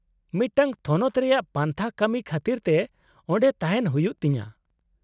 -ᱢᱤᱫᱴᱟᱝ ᱛᱷᱚᱱᱚᱛ ᱨᱮᱭᱟᱜ ᱯᱟᱱᱛᱷᱟ ᱠᱟᱹᱢᱤ ᱠᱷᱟᱹᱛᱤᱨ ᱛᱮ ᱚᱸᱰᱮ ᱛᱟᱦᱮᱱ ᱦᱩᱭᱩᱜ ᱛᱤᱧᱟᱹ ᱾